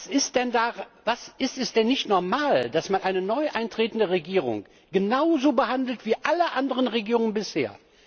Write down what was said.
Ist es denn nicht normal, dass man eine neu antretende Regierung genauso behandelt wie alle anderen Regierungen bisher?